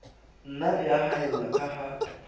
nna ya haella ka ha